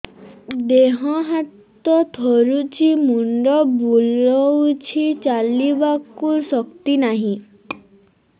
ଦେହ ହାତ ଥରୁଛି ମୁଣ୍ଡ ବୁଲଉଛି ଚାଲିବାକୁ ଶକ୍ତି ନାହିଁ